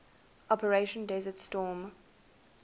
operation desert storm